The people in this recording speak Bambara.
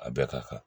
A bɛɛ ka kan